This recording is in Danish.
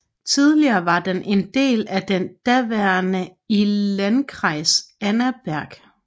Tidligere var den en del af den daværende i landkreis Annaberg